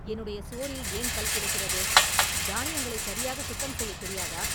என்னுடைய சோறில் ஏன் கல் கிடக்கிறது? தானியங்களை சரியாக சுத்தம் செய்யத் தெரியாதா?